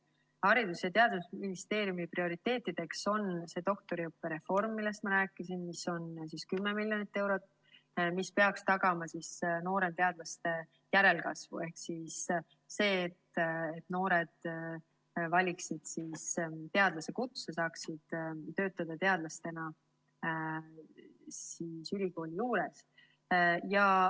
Haridus‑ ja Teadusministeeriumi prioriteet on doktoriõppe reform, millest ma rääkisin, 10 miljonit eurot, mis peaks tagama noorte teadlaste järelkasvu, ehk see, et noored valiksid teadlasekutse ja saaksid töötada teadlasena ülikooli juures.